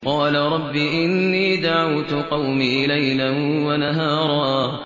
قَالَ رَبِّ إِنِّي دَعَوْتُ قَوْمِي لَيْلًا وَنَهَارًا